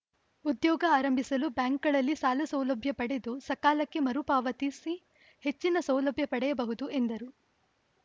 ಉದ್ಯೋಗ ಆರಂಭಿಸಲು ಬ್ಯಾಂಕ್‌ಗಳಲ್ಲಿ ಸಾಲಸೌಲಭ್ಯ ಪಡೆದು ಸಕಾಲಕ್ಕೆ ಮರುಪಾವತಿಸಿ ಹೆಚ್ಚಿನ ಸೌಲಭ್ಯ ಪಡೆಯಬಹುದು ಎಂದರು